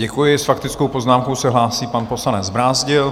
Děkuji s faktickou poznámkou se hlásí pan poslanec Brázdil.